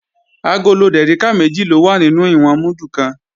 Agolo dèríkà méjì ló wà nínú ìwọ̀n múdù kan